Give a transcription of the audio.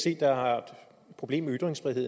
problem med